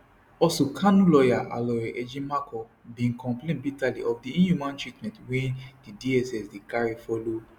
also kanu lawyer aloy ejimakor bin complain bitterly of di inhumane treatment wey di dss dey carry follow